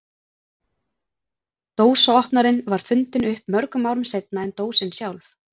Dósaopnarinn var fundinn upp mörgum árum seinna en dósin sjálf.